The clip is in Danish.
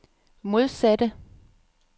modsatte